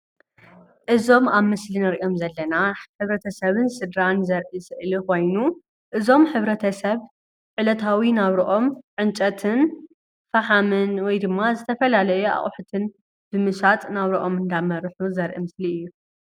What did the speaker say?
እዞም ኣብ ምስሊ እንርእዮም ዘለና ሕብረተሰብን ስድራን ዘርኢ ስእሊ ኮይኑ እዞም ሕብረተሰብን ዕላታዊ ናብረኦም ዕንፀይትን ፍሓምን ወይ ድማ ዝተፈላለየ ኣቁሑትን ብምሻጥ ናብርኦም እንዳመርሑ ዘርኢ ምስሊ እዩ።